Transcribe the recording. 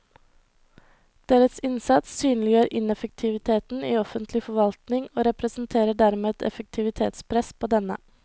Deres innsats synliggjør ineffektiviteten i offentlig forvaltning og representerer dermed et effektivitetspress på denne.